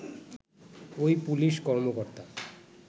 ওই পুলিশ কর্মকর্তা